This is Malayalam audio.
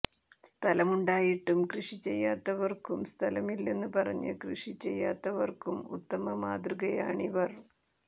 സ്ഥലമുണ്ടായിട്ടും കൃഷി ചെയ്യാത്തവർക്കും സ്ഥലമില്ലെന്ന് പറഞ്ഞ് കൃഷി ചെയ്യാത്തവർക്കും ഉത്തമ മാതൃകയാണിവർ